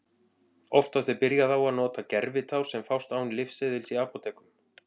Oftast er byrjað á að nota gervitár sem fást án lyfseðils í apótekum.